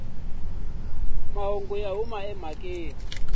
mahungu ya huma emhakeni naswona